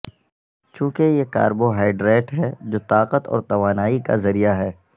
چونکہ یہ کاربوہائیڈریٹ ہے جو طاقت اور توانائی کا ذریعہ ہے